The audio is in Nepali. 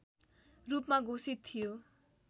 रूपमा घोषित थियो